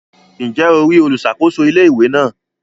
Ǹjẹ́ o rí àwọn olùsàkóso ilé-ìwé náà?